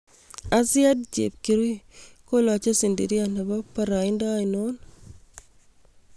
Azziad Chepkirui kolooche sidiria nepo paraaindo ainon